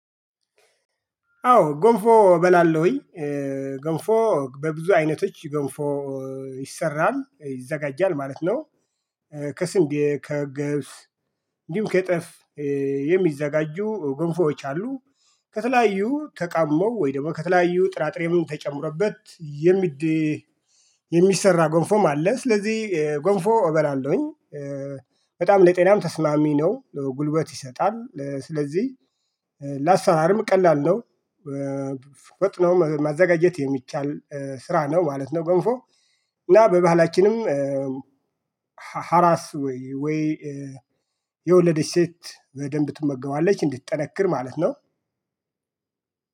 አዎ ጎንፎ እበላለሁኝ ገንፎ በብዙ አይነቶች ገንፎ ይሰራል ይዘጋጃል ማለት ነው። ከስንዴ ከገብስ እንዲሁ ከጤፍ የሚዘጋጁ ግንፎች አሉ። ከተለያዩ ተቃመው ወይ ደግሞ ከተለያዩ ጥራጥሬውን ተጨምሮበት። የሚሰራ ጎንፎም አለ ስለዚህ ጎንፎ እበላለሁኝ። በጣም ለጤናም ተስማሚ ነው ጉልበት ይሰጣል። ስለዚህ ለአሰራርም ቀላል ነው። ወጥ ነው ማዘጋጀት የሚቻል ስራ ነው ማለት ነው። ገንፎ እና በባህላችንም ሀራስ ወይ የወለደች ሴት በደንብ ትመገባለች እንድትጠነክር ማለት ነው